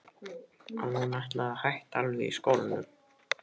Að hún ætlaði að hætta alveg í skólanum.